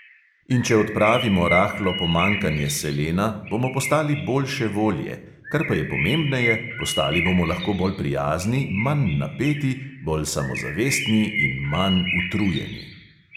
In če odpravimo rahlo pomanjkanje selena, bomo postali boljše volje, kar pa je pomembneje, postali bomo lahko bolj prijazni, manj napeti, bolj samozavestni in manj utrujeni.